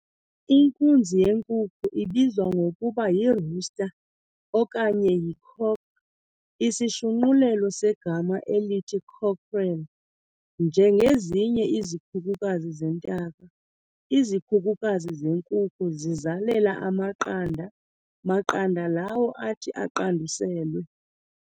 Inkunzi yenkukhu ibizwa ngokuba yi"rooster" okanye yi-cock", isishunqulelo segama elithi cockerel. Njengezinye izikhukukazi zentaka, izikhukukazi zenkukhu zizalela amaqanda maqanda lawo athi aqanduselwe.